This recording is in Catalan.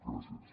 gràcies